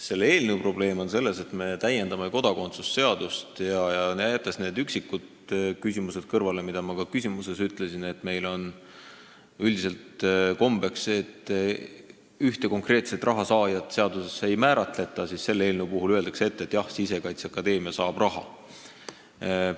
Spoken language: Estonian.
Selle eelnõu probleem on see, et kodakondsuse seaduse täiendamisega – jättes kõrvale need üksikud punktid, mis ma oma küsimustes välja ütlesin, näiteks, et meil on üldiselt kombeks, et ühte konkreetset rahasaajat seaduses ei määratleta – öeldakse ette, et Sisekaitseakadeemia saab raha.